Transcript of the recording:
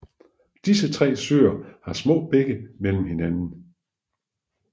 Disse tre søer har små bække mellem hinanden